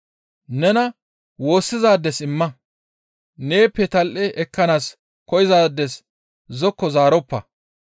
Nena woossizaades imma; neeppe tal7e ekkanaas koyzaades zokko zaaroppa.